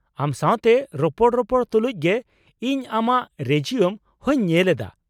ᱟᱢ ᱥᱟᱶᱛᱮ ᱨᱚᱯᱚᱲ ᱨᱚᱯᱚᱲ ᱛᱩᱞᱩᱡ ᱜᱮ ᱤᱧ ᱟᱢᱟᱜ ᱨᱮᱡᱤᱭᱩᱢ ᱦᱚᱸᱧ ᱧᱮᱞ ᱮᱫᱟ ᱾